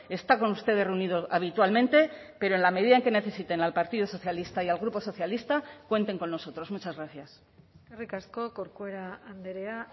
está con ustedes reunido habitualmente pero en la medida en que necesiten al partido socialista y al grupo socialista cuenten con nosotros muchas gracias eskerrik asko corcuera andrea